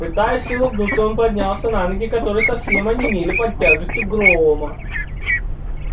пытаясь улыбнуться он поднялся на ноги которые совсем онемели под тяжестью грома